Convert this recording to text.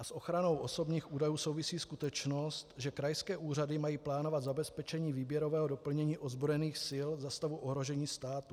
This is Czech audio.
A s ochranou osobních údajů souvisí skutečnost, že krajské úřady mají plánovat zabezpečení výběrového doplnění ozbrojených sil za stavu ohrožení státu.